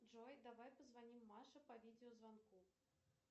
джой давай позвоним маше по видеозвонку